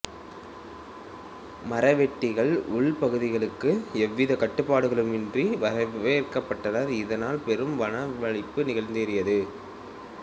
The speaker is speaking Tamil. மரவெட்டிகள் உள்பகுதிகளுக்கு ்எவ்வித கட்டுப்பாடுகளும் இன்றி வரவேற்கப்பட்டனர் இதனால் பெரும் வனவழிப்பு நிகழ்ந்தேறியது